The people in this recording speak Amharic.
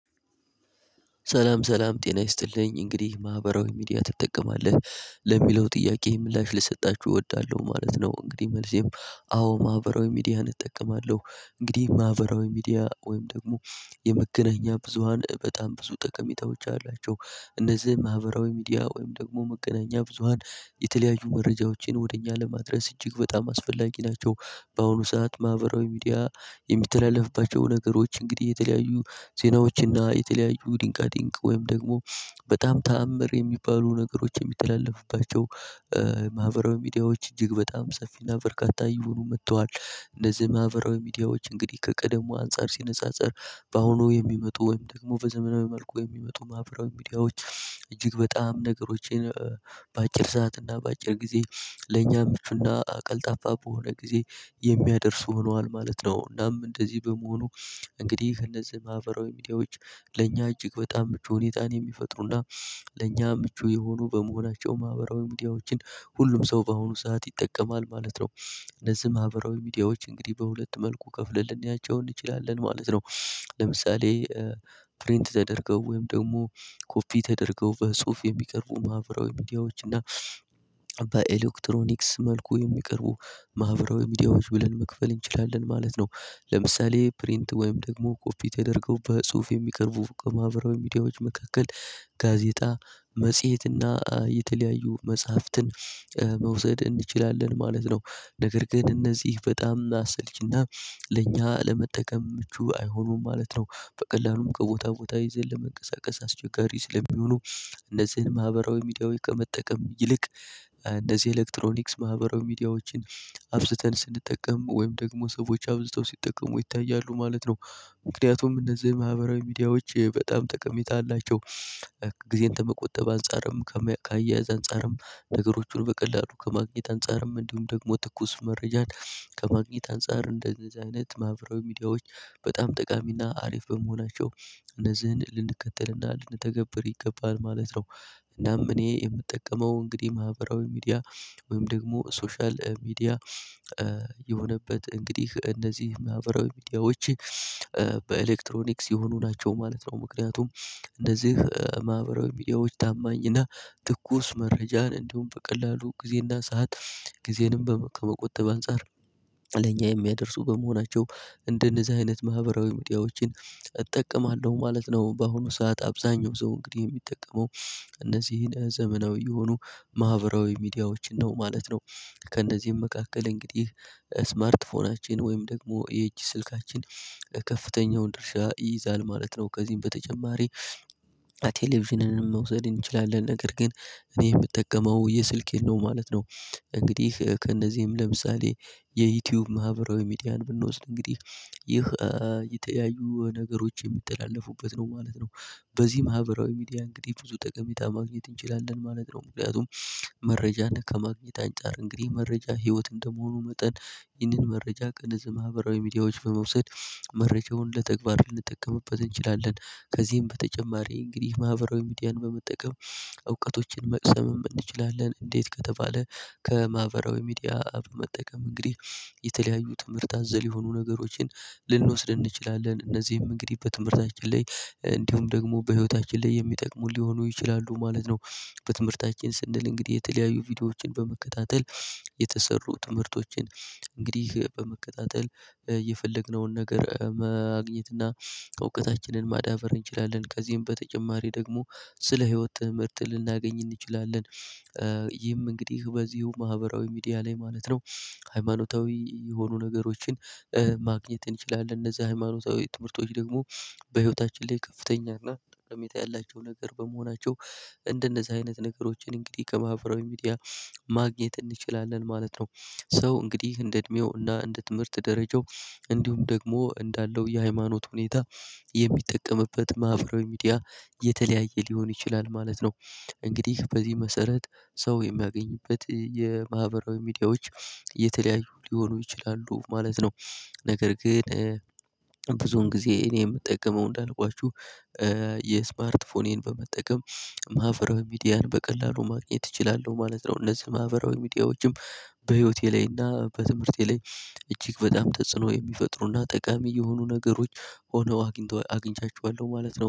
ሰላም ሰላም ጤና ይስጥልኝ እንግዲህ ማህበራዊ ሚዲያ ትጠቀማለህ ለሚለው ጥያቄ ምላሽ ልሰጣችሁ እወዳለሁ ማለት ነው። እንግዲህ መልሴም አዎ ማህበራዊ ሚዲያ እጠቀማለሁ። እንግዲህ ማህበራዊ ሚዲያ ወይም ደግሞ የመገናኛ ብዙሃን በጣም ብዙ ጠቀሜታዎች አላቸው። እነዚህ ማህበራዊ ሚዲያ ወይም ደግሞ መገናኛ ብዙሃን የተለያዩ መረጃዎችን ወደ እኛ ለማድረስ እጅግ በጣም አስፈላጊ ናቸው። በአሁኑ ሰዓት ማህበራዊ ሚዲያ የሚተላለፍባቸው ነገሮች እንግዲህ የተለያዩ ዜናዎችና የተለያዩ ድንቃቅንቅ ወይም ደግሞ በጣም ተአምር የሚባሉ ነገሮች የሚተላለፉባቸው ማህበራዊ ሚዲያዎች እጅግ በጣም ሰፊና በርካታ ይሁኑ መጥተዋል። እንደዚህ ማህበራዊ ሚዲያዎች እንግዲህ ከቀደሙ አንፃር ሲነጻጸር በአሁኑ የሚመጡ ወይም ደግሞ በዘመናዊ መልኩ የሚመጡ ማህበራዊ ሚዲያዎች እጅግ በጣም ነገሮችን በአጭር ሰዓት እና በአጭር ጊዜ ለኛ ምቹና አቀልጣፋ በሆነ ጊዜ የሚያደርሱ ሆኗል ማለት ነው። እናም እንደዚህ በመሆኑ እንግዲህ እነዚህ ማህበራዊ ሚዲያዎች ለእኛ እጅግ በጣም ምቹ ሁኔታን የሚፈጥሩና ለኛ ምቹ የሆኑ በመሆናቸው ማህበራዊ ሚዲያዎችን ሁሉም ሰው በአሁኑ ሰዓት ይጠቀማል ማለት ነው። እነዚህ ማህበራዊ ሚዲያዎች እንግዲህ በሁለት መልኩ ከፍለን ያጫው እንችላለን ማለት ነው። ለምሳሌ ፕሪንት ተደርገው ወይም ደግሞ ኮፒ ተደርገው በጽሁፍ የሚቀርቡ ማህበራዊ ሚዲያዎች እና በኤሌክትሮኒክስ መልኩ የሚቀርቡ ማህበራዊ ሚዲያዎች ብለን መክፈል እንችላለን ማለት ነው። ለምሳሌ ፕሪንት ወይም ደግሞ ኮፒ ተደርገው በጽሁፍ የሚቀርቡ በማህበራዊ ሚዲያዎች መካከል ጋዜጣ መጽሄትና የተለያዩ መጽሐፍትን መውሰድ እንችላለን ማለት ነው። ነገር ግን እነዚህ በጣም አሰልችና ለእኛ ለመጠቀም ምቹ አይሆኑም ማለት ነው። በቀላሉ ከቦታ ቦታ ይዘን ለመንቀሳቀስ አስቸጋሪ ስለሚሆኑ እነዚህን ማህበራዊ ሚዲያዊ ከመጠቀም ይልቅ እንደዚህ ኤሌክትሮኒክስ ማህበራዊ ሚዲያዎችን አብዝተን ስንጠቀም ወይም ደግሞ ሰዎች አብዝተው ሲጠቀሙ ይታያሉ ማለት ነው። ምክንያቱም እነዚህ ማህበራዊ ሚዲያዎች በጣም ጠቀሜታ አላቸው። ጊዜን ከመቆጠብ አንፃርም ከማያ ከአያያዝ አንፃርም ነገሮችን በቀላሉ ከማግኘት አንፃርም እንዲሁም ደግሞ ትኩስ መረጃን ከማግኘት አንፃር እንደዚህ አይነት ማህበራዊ ሚዲያዎች በጣም ጠቃሚና አሪፍ በመሆናቸው እነዚህን ልንከተልና ልንተገብር ይገባል ማለት ነው። እናም እኔ የምጠቀመው እንግዲህ ማህበራዊ ሚዲያ ወይም ደግሞ ሶሻል ሚዲያ የሆነበት እንግዲህ እነዚህ ማህበራዊ ሚዲያዎች በኤሌክትሮኒክስ የሆኑ ናቸው ማለት ነው። ምክንያቱም እንደዚህ ማህበራዊ ሚዲያዎች ታማኝና ትኩስ መረጃን እንዲሁም በቀላሉ ጊዜና ሰዓት ጊዜንም ከመቆጠብ አንፃር ለኛ የሚያደርሱ በመሆናቸው እንደነዚህ አይነት ማህበራዊ ሚዲያዎችን እጠቀማለሁ ማለት ነው። በአሁኑ ሰዓት አብዛኛው ሰው እንግዲህ የሚጠቀመው እነዚህን ዘመናዊ የሆኑ ማህበራዊ ሚዲያዎች ነው ማለት ነው። ከእነዚህም መካከል እንግዲህ ስማርት ፎናችን ወይም ደግሞ የእጅ ስልካችን ከፍተኛውን ድርሻ ይይዛል ማለት ነው። ከዚህም በተጨማሪ ቴሌቪዥንን መውሰድ እንችላለን ነገር ግን እኔ የምጠቀመው የስልኬን ነው ማለት ነው። እንግዲህ ከእነዚህም ለምሳሌ የዩቲዩብ ማህበራዊ ሚዲያን ብንወስድ እንግዲህ ይህ የተያዩ ነገሮች የሚተላለፉበት ነው ማለት ነው። በዚህ ማህበራዊ ሚዲያ እንግዲህ ብዙ ጠቀሜታ ማግኘት እንችላለን ማለት ነው። ምክንያቱም መረጃና ከማግኘት አንፃር እንግዲህ መረጃ ህይወት እንደመሆኑ መጠን ይህንን መረጃ ከነዚህ ማህበራዊ ሚዲያዎች በመውሰድ መረጃውን ለተግባር ልንጠቀምበት እንችላለን። ከዚህም በተጨማሪ እንግዲህ ማህበራዊ ሚዲያን በመጠቀም እውቀቶችን መቅሰም እንችላለን እንዴት ከተባለ። ከማህበራዊ ሚዲያ በመጠቀም እንግዲህ የተለያዩ ትምህርት አዘል የሆኑ ነገሮችን ልንወስድ እንችላለን እነዚህም እንግዲህ በትምህርታችን ላይ እንዲሁም ደግሞ በህይወታችን ላይ የሚጠቅሙ ሊሆኑ ይችላሉ ማለት ነው። በትምህርታችን ስንል እንግዲህ የተለያዩ ቪዲዮዎችን በመከታተል የተሰሩ ትምህርቶችን እንግዲህ በመከታተል የፈለግነውን ነገር ማግኘት እና እውቀታችንን ማዳበር እንችላለን ከዚህም ተጨማሪም ደግሞ ስለ ህይወት ትምህርት ልናገኝ እንችላለን። ይህም እንግዲህ በዚሁ ማህበራዊ ሚዲያ ላይ ማለት ነው። ሃይማኖታዊ የሆኑ ነገሮችን ማግኘት እንችላለን እነዛ ሃይማኖታዊ ትምህርቶች ደግሞ በህይወታችን ላይ ከፍተኛ እና ጠቀሜታ ያላቸው ነገር በመሆናቸው እንደነዚህ አይነት ነገሮችን እንግዲህ ከማህበራዊ ሚዲያ ማግኘት እንችላለን ማለት ነው። ሰው እንግዲህ እንደ እድሜው እና እንደ ትምህርት ደረጃው እንዲሁም ደግሞ እንዳለው የሃይማኖት ሁኔታ የሚጠቀምበት ማህበራዊ ሚዲያ የተለያየ ሊሆን ይችላል ማለት ነው። እንግዲህ በዚህ መሰረት ሰው የሚያገኝበት የማህበራዊ ሚዲያዎች የተለያዩ ሊሆኑ ይችላሉ ማለት ነው። ነገር ግን ብዙን ጊዜ እኔ የምጠቀመው እንዳልኳችሁ የስማርት ፎኔን በመጠቀም ማህበራዊ ሚዲያን በቀላሉ ማግኘት እችላለሁ ማለት ነው። እነዚህ ማህበራዊ ሚዲያዎችም በህይወቴ ላይ እና በትምህርቴ ላይ እጅግ በጣም ተጽኖ የሚፈጥሩና ጠቃሚ የሆኑ ነገሮች ሆነው አግኝተው አግኝቻችኋለሁ ማለት ነው